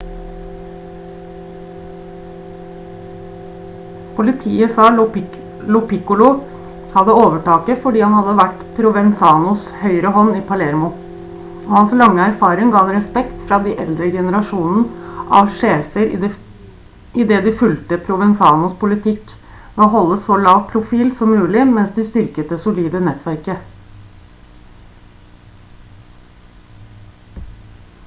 politiet sa lo piccolo hadde overtaket fordi han hadde vært provenzanos høyrehånd i palermo og hans lange erfaring ga ham respekt fra den eldre generasjonen av sjefer i det de fulgte provenzanos politikk ved å holde så lav profil som mulig mens de styrket det solide nettverket